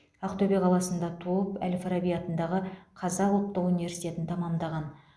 ақтөбе қаласында туып әл фараби атындағы қазақ ұлттық университетін тәмамдаған